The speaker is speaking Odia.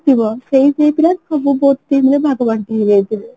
ଥିବ ସେଇ team ର ସବୁ team ରେ ଭାଗ ବାଣ୍ଟି ହେଇଯାଇଥିବେ